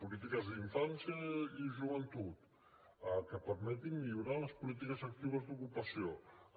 polítiques d’infància i joventut el que permeti millorar les polítiques actives d’ocupació